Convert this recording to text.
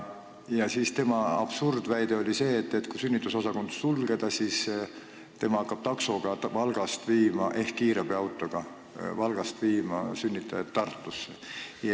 Marek Seeri absurdväide aga oli see, et kui sünnitusosakond sulgeda, siis tema hakkab taksoga või kiirabiautoga Valgast sünnitajaid Tartusse viima.